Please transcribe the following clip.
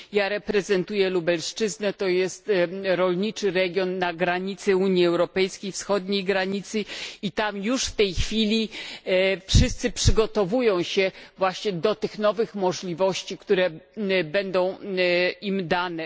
Ja reprezentuję Lubelszczyznę to jest rolniczy region na granicy Unii Europejskiej, wschodniej granicy i tam już w tej chwili wszyscy przygotowują się właśnie do tych nowych możliwości, które będą im dane.